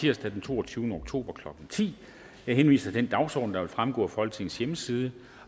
tirsdag den toogtyvende oktober klokken ti jeg henviser til den dagsorden der vil fremgå af folketingets hjemmeside